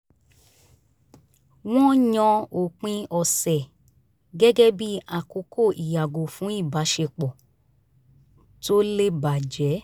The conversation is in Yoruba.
wọ́n yàn òpin ọ̀sẹ̀ gẹ́gẹ́ bí àkókò ìyàgò fún ìbáṣepọ̀ tó lè bàjẹ́